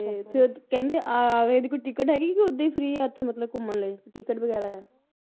ਤੇ ਫੇਰ ਕਹਿੰਦੇ ਆਗਰੇ ਦੀ ਕੋਈ ticket ਹੈਗੀ ਕੇ ਓਹਦਾ ਹੀ free ਆ ਉੱਥੇ ਮਤਲਬ ਘੁੰਮਣ ਲਈ ticket ਵਗੈਰਾ ਆ